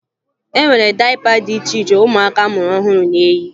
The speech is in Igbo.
E nwere dayịpa dị iche iche ụmụaka a mụrụ ọhụrụ na-eyi